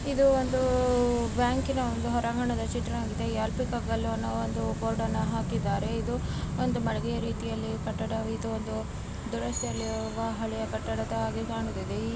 ಇದು ಒಂದು ಬ್ಯಾಂಕಿನ ಹೊರಾಂಗಣ ಚಿತ್ರವಾಗಿದೆ ಒಂದು ಬೋರ್ಡ್ ಅನ್ನ ಹಾಕಿದ್ದಾರೆ ಇದು ಒಂದು ದುರ್ವ್ಯವಸ್ಥೆಯಲ್ಲಿರುವ ಹಳೆಯ ಕಟ್ಟಡದಂತೆ ಕಾಣಿಸುತ್ತಿದೆ .